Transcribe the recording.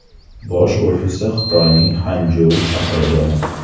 Bosh ofisi Xitoyning Xanjou shahrida.